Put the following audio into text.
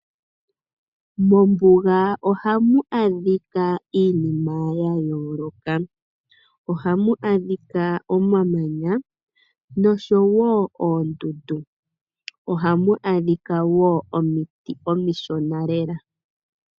Mombuga ohamu adhika iinima yayooloka. Ohamu adhika omamanya nosho wo oondundu, ohamu adhika wo omiti omishona lela.